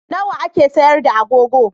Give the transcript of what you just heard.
Nawa ake sayar da agogo?